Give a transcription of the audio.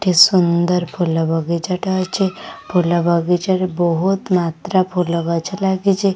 ଏଠି ସୁନ୍ଦର ଫୁଲ ବଗିଚା ଟେ ଅଛି ଫୁଲ ବଗିଚା ରେ ବହୁତ୍ ମାତ୍ରା ଫୁଲ ଗଛ ଲାଗିଚି।